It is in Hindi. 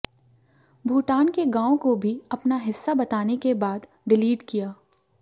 भूटान के गांव को भी अपना हिस्सा बताने के बाद डिलीट किया